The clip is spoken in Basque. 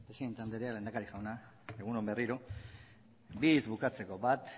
presidente andrea lehendakari jauna egun on berriro bi hitz bukatzeko bat